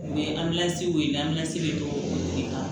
O ye bɛ don o de kan